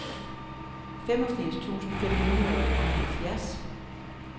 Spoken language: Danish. femogfirs tusind fem hundrede og enoghalvfjerds